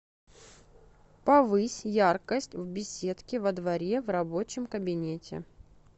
повысь яркость в беседке во дворе в рабочем кабинете